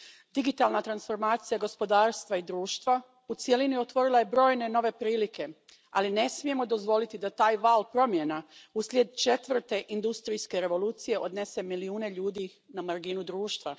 Digitalna transformacija gospodarstva i društva u cjelini otvorila je brojne nove prilike, ali ne smijemo dozvoliti da taj val promjena uslijed četvrte industrijske revolucije odnese milijune ljudi na marginu društva.